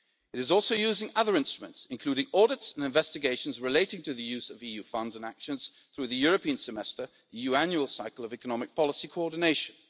It is also using other instruments, including audits and investigations relating to the use of EU funds and actions through the European Semester, the EU annual cycle of economic policy coordination.